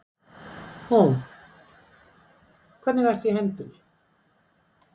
Hún: Hvernig ertu í hendinni?